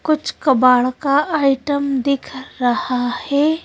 कुछ कबाड़ का आइटम दिख रहा है।